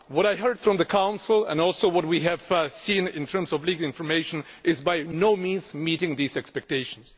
What I heard from the Council and also what we have seen in terms of leaked information by no means meets these expectations.